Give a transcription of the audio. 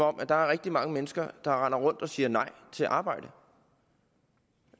om der er rigtig mange mennesker der render rundt og siger nej til at arbejde